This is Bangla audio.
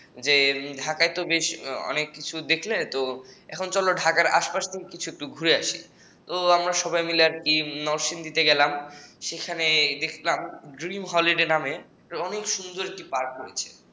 ঢাকায় তো বেশ অনেক কিছু দেখলে তো এখন চলো ঢাকার আশপাশ থেকে কিছুদূর থেকে ঘুরে আসি তো আমরা সবাই মিলে নরসিংদীতে গেলাম সেখানে দেখলাম dream holiday নামে অনেক সুন্দর একটি park রয়েছে